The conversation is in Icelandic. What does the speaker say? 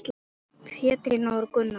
Pétrína og Gunnar.